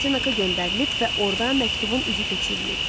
Frontenaka göndərilib və orda məktubun üzü köçürülüb.